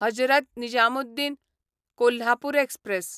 Hazrat Nizamuddin Kolhapur express